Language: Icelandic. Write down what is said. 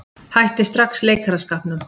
Hætti strax leikaraskapnum.